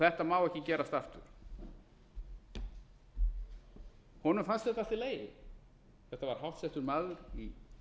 þetta má ekki gerast aftur honum fannst þetta allt í lagi þetta var háttsettur maður í